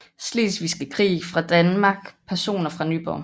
Slesvigske Krig fra Danmark Personer fra Nyborg